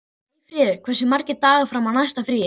Eyfríður, hversu margir dagar fram að næsta fríi?